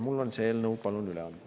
Mul on see eelnõu üle anda.